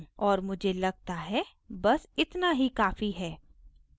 और मुझे लगता है बस इतना ही काफ़ी है